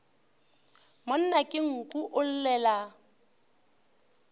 monna ke nku o llela